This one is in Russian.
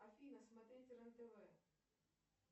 афина смотреть рен тв